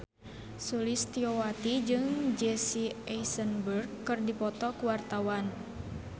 Sulistyowati jeung Jesse Eisenberg keur dipoto ku wartawan